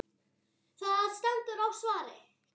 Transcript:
Það stendur á svari.